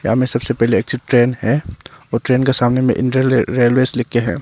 यहाँ मे सबसे पहले एग्जिट ट्रेन है और ट्रेन के सामने में इंडियन रेलवेज लिख के हैं।